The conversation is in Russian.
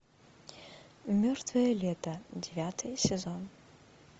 мертвое лето девятый сезон